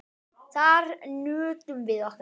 Þar nutum við okkar.